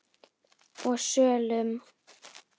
og sölum.